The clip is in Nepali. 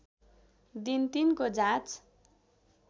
दिन तिनको जाँच